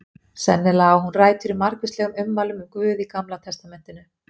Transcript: Sennilega á hún rætur í margvíslegum ummælum um guð í Gamla testamentinu.